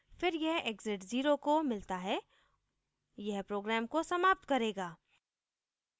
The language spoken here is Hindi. फिर यह exit 0 को मिलता है यह program को समाप्त करेगा